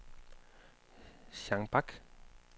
Jeanne Bak